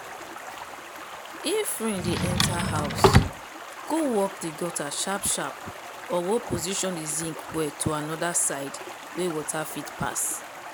if rain dey enter house go work the gutter sharp sharp or go position the zinc well to another side wey water fit pass.